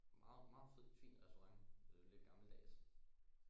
Meget meget fed fin restaurant øh lidt gammeldags